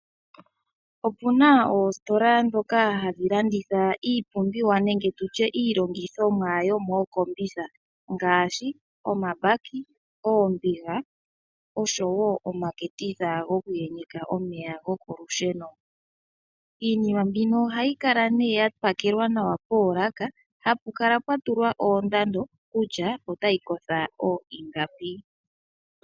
Opuna oositola ndhoka hadhi landitha iipumbiwa nenge nditye iilongithimwa yo mookombitha ngaashi omabaki, oombiga oshowo omaketitha goku yenyeka omeya gokolusheno. Iinima mbino ohayi kala nee yapakelwa nawa poolaka hapu kala pwatulwa oondado kutya otayi kotha oingapi.